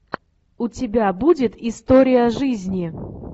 у тебя будет история жизни